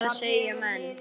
Hvað segja menn?